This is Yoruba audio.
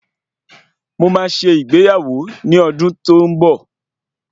Mo máa ṣe ìgbéyàwó ní ọdún tí ó ń bọ̀